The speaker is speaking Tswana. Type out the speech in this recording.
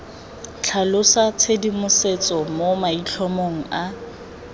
tlhalosa tshedimosetso mo maitlhomong a